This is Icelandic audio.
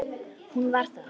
Hún var það.